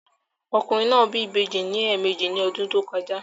Ọkùnrin náà bí ìbejì lẹ́ẹ̀mejì ní ọdún tó kọjá.